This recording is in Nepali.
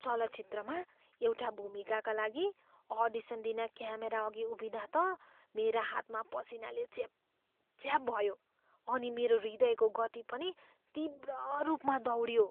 चलचित्रमा एउटा भूमिकाका लागि अडिसन दिन क्यामेरा अघि उभिँदा त मेरा हातमा पसिनाले च्यापच्याप भयो अनि मेरो हृदयको गति पनि तीव्र रूपमा दौड्यो।